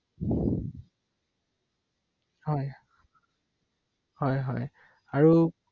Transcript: প্ৰয়োজন হলেহে যোৱা হয় আৰু বৰ বিশেষ কথাবোৰ নাজানো নহয় ৷সেইটো কাৰণে ভাবিলো এবাৰ ৷